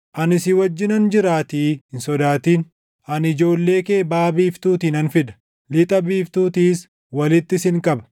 Ani si wajjinan jiraatii hin sodaatin; ani ijoollee kee baʼa biiftuutii nan fida; lixa biiftuutiis walitti sin qaba.